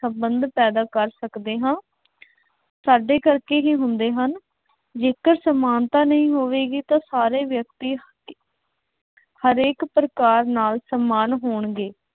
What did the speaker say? ਸੰਬੰਧ ਪੈਦਾ ਕਰ ਸਕਦੇ ਹਾਂ। ਸਾਡੇ ਕਰਕੇ ਹੀ ਹੁੰਦੇ ਹਨ। ਜੇਕਰ ਸਮਾਨਤਾ ਨਹੀਂ ਹੋਵੇਗੀ ਤਾਂ ਸਾਰੇ ਵਿਅਕਤੀ ਹਰੇਕ ਪ੍ਰਕਾਰ ਨਾਲ ਸਮਾਨ ਹੋਣਗੇ।